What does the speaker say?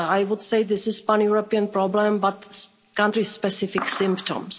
I would say this is a pan European problem but with country specific symptoms.